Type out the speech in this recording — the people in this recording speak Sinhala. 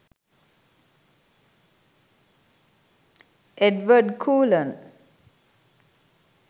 edward cullen